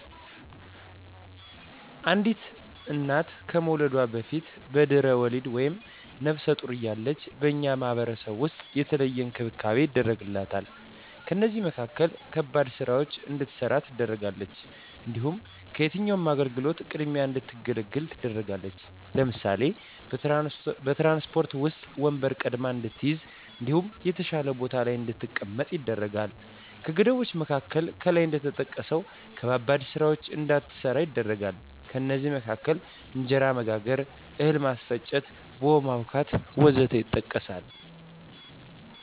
አንዲት እና ከመዉለዷ በፊት(በድሕረ ወሊድ)ወይም ነብሰ ጡር እያለች በእኛ ማህበረሰብ ዉስጥ የተለየ እንክብካቤ ይደረግላታል ከእነዚህም መካከል ከባድ ስራወችን እንዳትሰራ ትደረጋለች። እንዲሁም ከየትኛዉም አገልግሎት ቅድሚያ እንድትገለገል ትደረጋለች ለምሳሌ፦ በትራንስፖርት ዉስጥ ወንበር ቀድማ እንድትይዝ እንዲሁም የተሻለ ቦታ ላይ እንድትቀመጥ ይደረጋል። ከገደቦች መካከል ከላይ እንደተጠቀሰዉ ከባባድ ስራወችን እንዳትሰራ ይደረጋል ከእነዚህም መካከል እንጀራ መጋገር፣ እህል ማስፈጨት፣ ቡሆ ማቡካት ወዘተ ይጠቀሳል